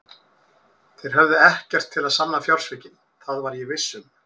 Þeir höfðu ekkert til að sanna fjársvikin, það var ég viss um.